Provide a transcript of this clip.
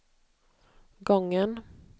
gången